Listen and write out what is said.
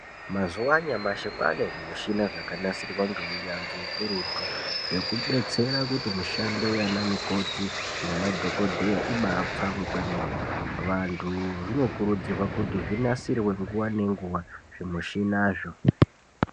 Mazuva anyamashi kwane zvimishina zvakanasirwa ngeunyanzvi hukurutu. Zvekubetsera kuti mushando yana mukoti nemadhogodheya ibapfave kwemene. Vantu zvinokurudzirwa kuti zvinasirwe nguva nenguva zvimushinazvo.